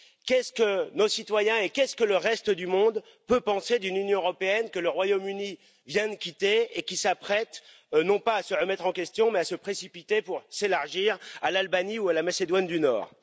Qu'est ce que nos citoyens, qu'est ce que le reste du monde peuvent penser d'une Union européenne que le Royaume Uni vient de quitter et qui s'apprête, non pas à se remettre en question, mais à se précipiter pour s'élargir à l'Albanie ou à la Macédoine du Nord?